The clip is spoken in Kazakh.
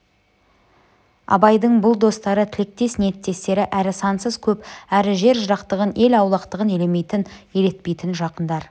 абайдың бұл достары тілектес ниеттестері әрі сансыз көп әрі жер жырақтығын ел аулақтығын елемейтін елетпейтін жақындар